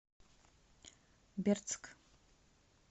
бердск